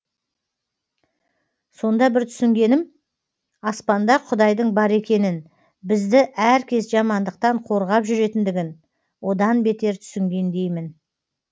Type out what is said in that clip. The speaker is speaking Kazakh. сонда бір түсінгенім аспанда құдайдың бар екенін бізді әркез жамандықтан қорғап жүретіндігін одан бетер түсінгендеймін